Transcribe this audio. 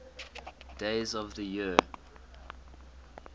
days of the year